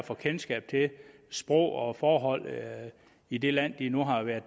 få kendskab til sprog og forholdene i det land de nu har været